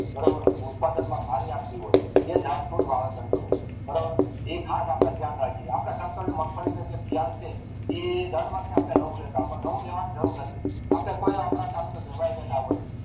બારોબર ઉત્પાદન માં સારી અપાતી હોય એ જાતનું વાવેતર કરવું બરોબર ઈ ખાસ આપડે ધ્યાન રાખીએ આપડા જે મગફળી નું બિયારણ છે એ દર વખતે આપડે નવું લેતા અથવા નવું લેવાની જરૂર નથી અપડે કોઈ આપડા ધારો કે વેવાય વેળા હોય